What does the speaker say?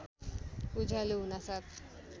उज्यालो हुनासाथ